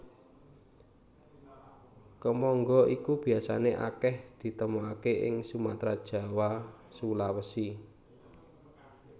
Kemangga iki biasané akèh ditemokaké ing Sumatra Jawa Sulawesi